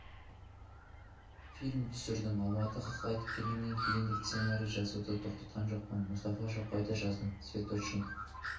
фильм түсірдім алматыға қайтып келгеннен кейін де сценарий жазуды тоқтатқан жоқпын мұстафа шоқайды жаздым цветочник